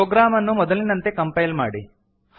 program ಅನ್ನು ಮೊದಲಿನಂತೆ compile ಮಾಡಿ